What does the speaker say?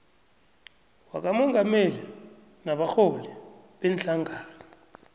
wakamongameli nabarholi beenhlangano